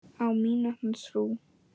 Á mína trú.